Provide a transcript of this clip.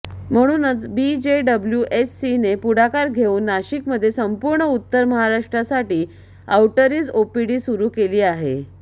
म्हणूनच बीजेडब्ल्यूएचसीने पुढाकार घेऊन नाशिकमध्ये संपूर्ण उत्तर महाराष्ट्रासाठी आउटरीच ओपीडी सुरू केली आहे